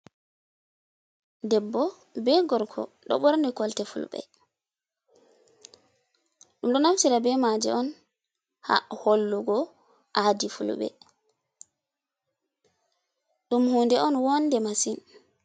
Debbo be gorko ɗo ɓorni kolte fulɓe, ɗum ɗo naftira be maje on ha hollugo aadi fulɓe ɗum hunde on woonde masin.